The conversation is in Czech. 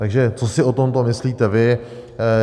Takže co si o tomto myslíte vy?